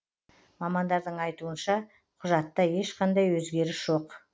мамандардың айтуынша құжатта ешқандай өзгеріс жоқ